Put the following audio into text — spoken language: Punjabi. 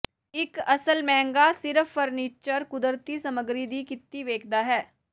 ਇੱਕ ਅਸਲ ਮਹਿੰਗਾ ਸਿਰਫ ਫਰਨੀਚਰ ਕੁਦਰਤੀ ਸਮੱਗਰੀ ਦੀ ਕੀਤੀ ਵੇਖਦਾ ਹੈ